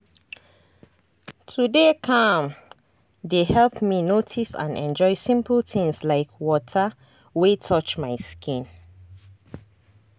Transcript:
to dey calm dey help me notice and enjoy simple things like water wey touch my skin.